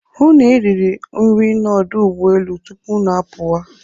Hụ na i riri nri n'ọdụ ụgbọelu tupu unu apụwa.